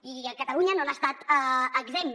i catalunya no n’ha estat exempt